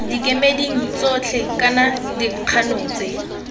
dikemeding tsotlhe kana dikgano tse